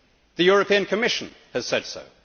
The European Commission has said so.